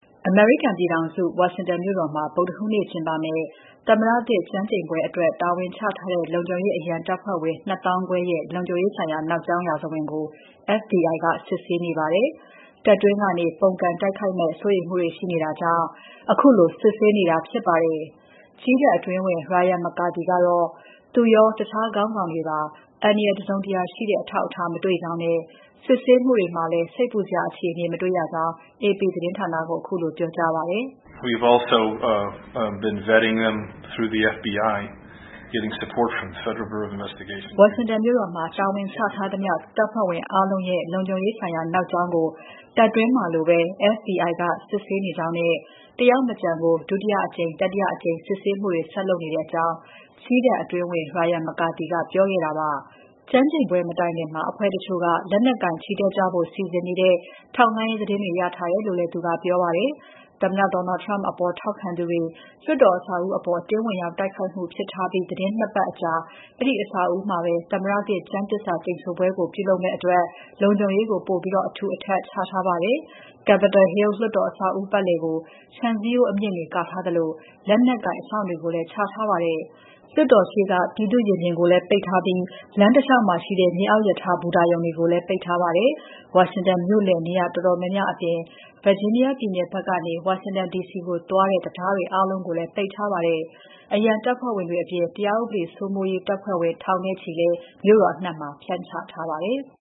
အမေရိကန်ပြည်ထောင်စု ဝါရှင်တန်မြို့တော်မှာ ဗုဒ္ဓဟူးနေ့ကျင်းပမယ့် သမ္မတသစ်ကျမ်းကျိန်ပွဲအတွက် တာဝန်ချထားတဲ့ လုံခြုံရေးအရန်တပ်ဖွဲ့ဝင် ၂၅,၀၀၀ ရဲ့ လုံခြုံရေးဆိုင်ရာ နောက်ကြောင်းရာဇဝင်ကို FBI စစ်ဆေးနေပါတယ်။ တပ်တွင်းကနေ ပုန်ကန်တိုက်ခိုက်မယ့် စိုးရိမ်မှုတွေ ရှိနေတာကြောင့် ခုလို စစ်ဆေးနေတာဖြစ်ပါတယ်။ ကြည်းတပ်အတွင်းဝန် Ryan McCarthy ကတော့ သူရော တခြားခေါင်းဆောင်တွေပါ အန္တရာယ်တစုံတရာရှိတဲ့ အထောက်အထား မတွေ့ကြောင်းနဲ့ စစ်ဆေးမှုတွေမှာလည်း စိတ်ပူစရာအခြေအနေ မတေ့ွရကြောင်း AP သတင်းဌာနကကို ခုလိုပြောကြားပါတယ်။ "ဝါရှင်တန်မြို့တော်မှာ တာဝန်ချထားသမ ျှ တပ်ဖွဲ့ဝင်အားလုံးရဲ့ လုံခြုံရေးဆိုင်ရာ နောက်ကြောင်းကို တပ်တွင်းမှာလိုပဲ FBI က စစ်ဆေးနေကြောင်းနဲ့ တယောက်မကျန်ကို ဒုတိယအကြိမ်၊ တတိယအကြိမ် စစ်ဆေးမှုတွေ ဆက်လုပ်နေကြောင်း" ကြည်းတပ်အတွင်းဝန် Ryan McCarthy ကပြောပါတယ်။ ကျမ်းကျိန်ပွဲ မတိုင်ခင် အဖွဲ့တချို့က လက်နက်ကိုင်ချီတက်ကြဖို့ စီစဉ်နေတဲ့ ထောက်လှမ်းရေးသတင်းတွေ ရထားတယ်လို့လည်း သူကပြောပါတယ်။ သမ္မတ Donald Trump အပေါ် ထောက်ခံသူတွေ လွှတ်တော်အဆောက်အဦးအပေါ် အတင်းဝင်ရောက်တိုက်ခိုက်မှုဖြစ်ထားပြီး သီတင်း ၂ ပတ်အကြာ အဲဒီအဆောက်အဦးမှာပဲ သမ္မတသစ်ကျမ်းသစ္စာကျိန်ဆိုပွဲကို ပြုလုပ်မယ့်အတွက် လုံခြုံရေးကို ပိုပြီး အထူအထပ်ချ တင်းကြပ်ထားပါတယ်။ Capitol Hill လွှတ်တော်အဆောက်အဦး ပတ်လည်ကို ခြံစည်းရိုးအမြင့်တွေ ကာထားသလို လက်နက်ကိုင်အစောင့်တွေကိုလည်း ချထားပါတယ်။ လွှတ်တော်ရှေ့က ပြည်သူ့ရင်ပြင်ကိုလည်း ပိတ်ထားပြီး လမ်းတလေ ျှာက်မှာရှိတဲ့ မြေအောက်ရထားဘူတာတွေကိုလည်း ပိတ်ထားပါတယ်။ ဝါရှင်တန်မြို့လယ် နေရာတော်တော်များများ အပြင် Virginia ပြည်နယ်ဘက်ကနေ ဝါရှင်တန်ဒီစီကို သွားတဲ့ တံတားတွေအားလုံးကိုလည်း ပိတ်ထားပါတယ်။ အရန်တပ်ဖွဲ့ဝင်တွေအပြင် တရားဥပဒေစိုးမိုးရေးတပ်ဖွဲ့ဝင် ထောင်နဲ့ချီလည်း မြို့တော်အနှံ့မှာ ဖြန့်ချထားပါတယ်။